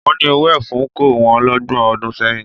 Wọ́n ni owó ẹfun kò wọ́n lọ́gbọ̀n ọdún sẹ́yìn